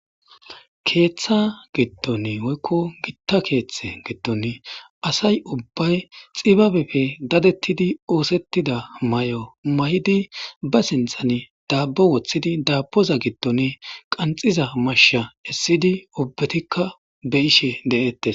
Keeththa giddoni woyikko gita keeththetidi giddoni asayi ubbeyi xibabeppe dadetidi osetida mayo mayidi ba sinthani dabo woththidi daboza gidoni qanxiza mashsha esidi ubbatikka beishshe deetessi